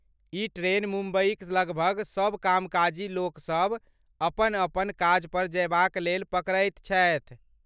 ई train मुम्बईक लगभग सब कामकाजी लोकसभ अपन अपन काजपर जयबाक लेल पकड़ैत छथि।